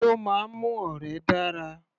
Kí ló máa ń mú ọ̀rẹ́ dára?